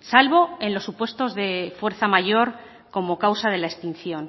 salvo en los supuestos de fuerza mayor como causa de la extinción